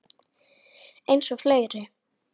Eins og fleiri.